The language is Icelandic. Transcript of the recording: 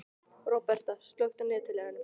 Róberta, slökktu á niðurteljaranum.